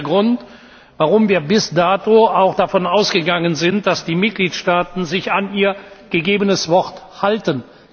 Das ist der Grund, warum wir bis dato auch davon ausgegangen sind, dass die Mitgliedstaaten sich an ihr gegebenes Wort halten.